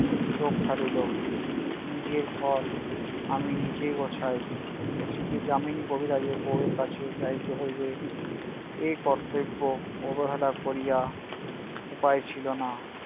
চোখ ফারিলো। নিজের ঘর আমি নিজেই গোছাই। শশীদের যামিনী কবিরাজের বৌ এর কাছে যাইতে হইবে। এই কর্তব্য অবহেলা করিয়া উপায় ছিল না